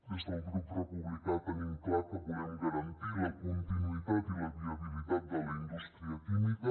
des del grup republicà tenim clar que volem garantir la continuïtat i la viabilitat de la indústria química